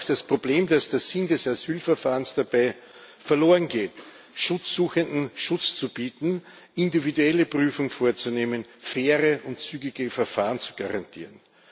Und das ist auch das Problem dass der Sinn des Asylverfahrens dabei verloren geht, Schutzsuchenden Schutz zu bieten, eine individuelle Prüfung vorzunehmen, faire und zügige Verfahren zu garantieren.